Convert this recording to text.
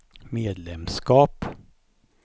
medlemskap